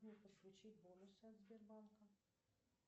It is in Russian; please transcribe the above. подключить бонусы от сбербанка